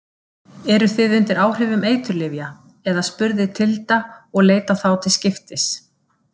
Eruð þið undir áhrifum eiturlyfja, eða spurði Tilda og leit á þá til skiptis.